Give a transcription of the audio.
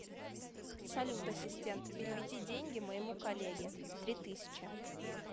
салют ассистент переведи деньги моему коллеге три тысячи